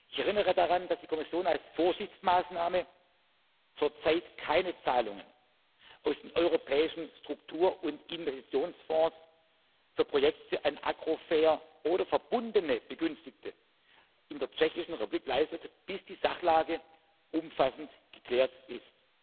Ich erinnere daran, dass die Kommission als Vorsichtsmaßnahme zurzeit keine Zahlungen aus den europäischen Struktur und Investitionsfonds für Projekte an Agrofert oder verbundene Begünstigte in der Tschechischen Republik leistet, bis die Sachlage umfassend geklärt